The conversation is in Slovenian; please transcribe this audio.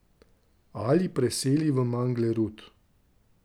Ali preseli v Manglerud.